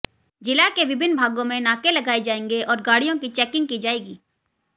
जिला के विभिन्न भागों में नाके लगाए जाएंगे और गाडि़यों की चैकिंग की जाएगी